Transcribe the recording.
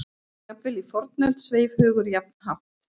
Jafnvel í fornöld sveif hugur jafn hátt.